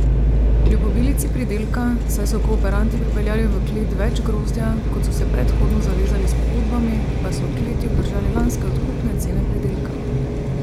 Kljub obilici pridelka, saj so kooperanti pripeljali v klet več grozdja, kot so se predhodno zavezali s pogodbami, pa so v kleti obdržali lanske odkupne cene pridelka.